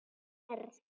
Þá verð